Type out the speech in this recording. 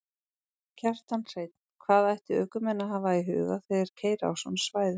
Kjartan Hreinn: Hvað ættu ökumenn að hafa í huga þegar þeir keyra á svona svæðum?